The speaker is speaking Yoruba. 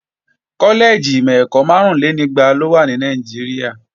Kọ́lẹ́ẹ̀jì ìmọ̀-ẹ̀kọ́ márúnlénígba ló wà ní Nàìjíríà